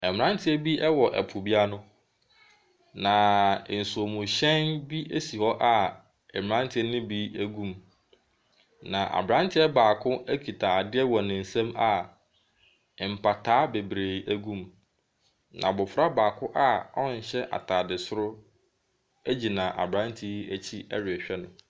Mmranteɛ bi wɔ po bi ano. Na nsuomhyɛn bi si hɔ a mmranteɛ no bi gu mu. Na abranteɛ baako kita adeɛ wɔ ne nsam a mpataa bebree gu mu. Na abofra baako a ɔnhyɛ ataadesoro egyina abrante yi akyi rehwɛ no.